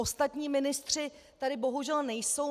Ostatní ministři tady bohužel nejsou.